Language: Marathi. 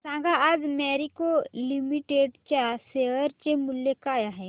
सांगा आज मॅरिको लिमिटेड च्या शेअर चे मूल्य काय आहे